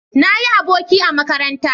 Na yi aboki a makaranta